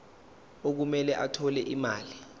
okumele athole imali